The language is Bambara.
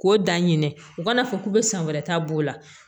K'o da ɲinɛ u kana fɔ k'u be san wɛrɛ ta b'o la